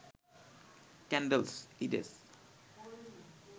calends, ইডেস